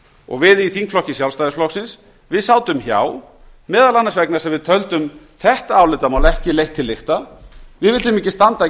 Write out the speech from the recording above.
og við í þingflokki sjálfstæðisflokksins sátum hjá meðal annars vegna þess að við töldum þetta álitamál ekki leitt til lykta við vildum ekki standa